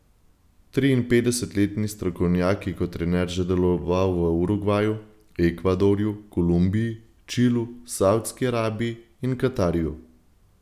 Triinpetdesetletni strokovnjak je kot trener že deloval v Urugvaju, Ekvadorju, Kolumbiji, Čilu, Savdski Arabiji in Katarju.